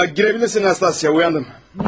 Ya girebilirsin Nastasya, uyandım.